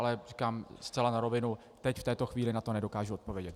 Ale říkám zcela na rovinu, teď v této chvíli na to nedokážu odpovědět.